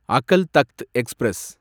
Akal Takht express